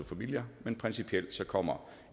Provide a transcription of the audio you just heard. familia men principielt kommer